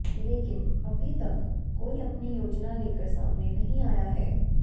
लेकिन अभी तक कोई अपनी योजना लेकर सामने नहीं आया है